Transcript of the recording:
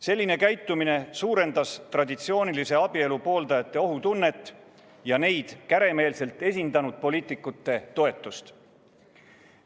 Selline käitumine suurendas traditsioonilise abielu pooldajate ohutunnet ja neid käremeelselt esindanud poliitikute toetust.